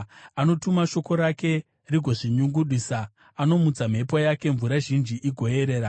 Anotuma shoko rake rigozvinyungudisa; anomutsa mhepo yake, mvura zhinji igoerera.